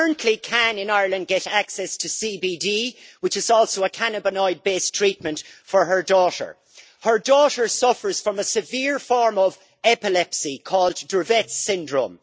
She currently can, in Ireland, get access to CBD, which is also a cannabidiol based treatment, for her daughter. Her daughter suffers from a severe form of epilepsy called Dravet's syndrome.